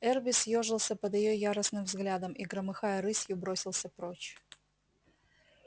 эрби съёжился под её яростным взглядом и громыхая рысью бросился прочь